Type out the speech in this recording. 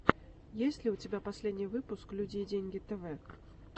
есть ли у тебя последний выпуск люди и деньги тэвэ